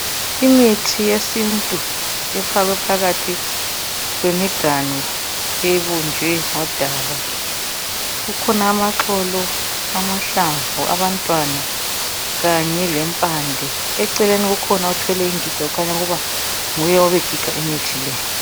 Imithi yesintu efakwe phakathi kwemiganu ebunjwe ngodaka. Kukhona amaxolo, amahlamvu, abantwana kanye lempande. Eceleni kukhona othwele ingiga okukhanya ukuba nguye obegiga imithi le.